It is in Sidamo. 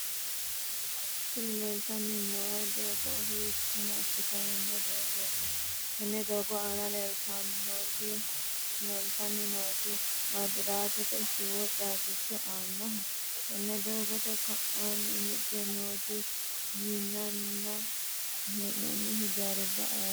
tini leeltanni noo doogo hiikka massitanno doogooti? tenne doogo aana leeltanni nooti maabiraatete siwiili caabbicho aannoho? tenne doogote ka'aanni higge nooti minnanni hee'noonni hijaari ayeeho?